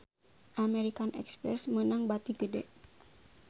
American Express meunang bati gede